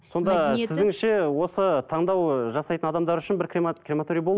сонда сіздіңше осы таңдау жасайтын адамдар үшін бір крематорий болу